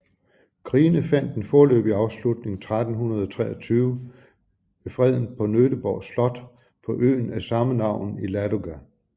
Krigene fandt en foreløbig afslutning 1323 ved freden på Nöteborg slot på øen af sammenavn i Ladoga